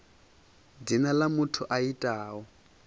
dzina ḽa muthu a itaho